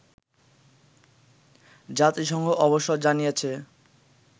জাতিসংঘ অবশ্য জানিয়েছে